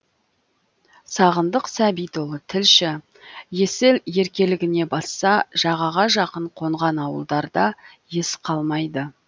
сағындық сәбитұлы тілші есіл еркелігіне басса жағаға жақын қонған ауылдарда ес қалмайды